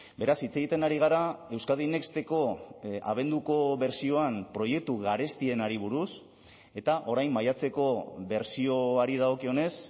beraz hitz egiten ari gara euskadi nexteko abenduko bertsioan proiektu garestienari buruz eta orain maiatzeko bertsioari dagokionez